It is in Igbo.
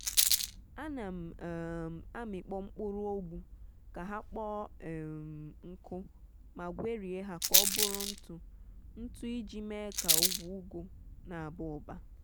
ana m um amikpo mkpụrụ ogbu ka ha kpọọ um nkụ ma gwerie ha ka ọ bụrụ ntụ-ntụ iji mee ka ugwu ụgụ n’aba ụba.